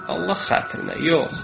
Allah xatirinə, yox!